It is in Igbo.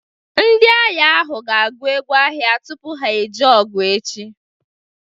Ndị agha ahụ ga-agụ egwu agha tupu ha eje ọgụ echi